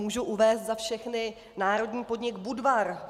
Mohu uvést za všechny národní podnik Budvar.